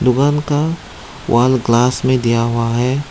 दुकान का wall glass में दिया हुआ हैं।